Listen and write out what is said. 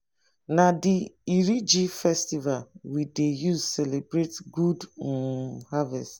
na di iriji festival we dey use celebrate good um harvest.